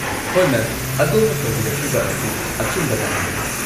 ꯍꯣꯏ, ꯃꯦꯝ! ꯑꯗꯣꯝꯅ ꯇꯧꯕꯤꯔꯛꯂꯤꯕ ꯑꯁꯤ ꯑꯆꯨꯝꯕ ꯂꯥꯏꯟꯗꯅꯤ꯫